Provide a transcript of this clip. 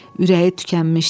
Ürəyi tükənmişdi.